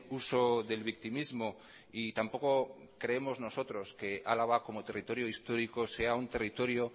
uso del victimismo y tampoco creemos nosotros que álava como territorio histórico sea un territorio